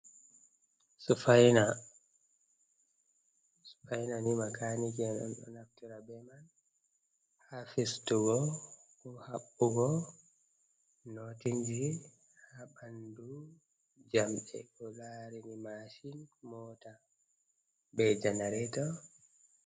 Sufaina, sufaina ni makaaniki en on ɗo naftirta be man ha fistugo, ko haɓɓugo nootinji ha ɓandu jamɗe ko laarini maashin, moota, be janareto.